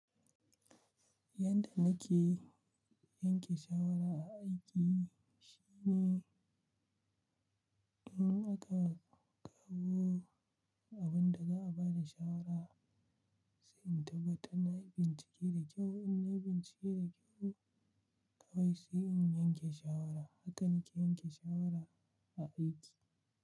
Yanda nake yanke shawara a aiki shine, dun aka kawo abun da za a ba da shawara, sai in taɓa tabbatar nayi bincike da kyau. In na nayi bincike da kyau kawai sai in yanke shawara. Hakan ke yanke shawara a aiki.